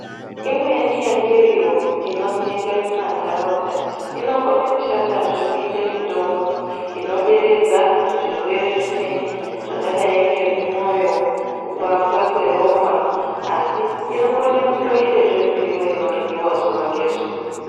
Imweni ye miriwo ino oneke muma ndaraunda inokone kushanda zve kuite mitombo ino deredza zvirwere zvimweni zvakadai ngemu mwoyo kupambwa kwe ropa asi ino kone kundoite mirivo ino dyiwa zuva ne zuva.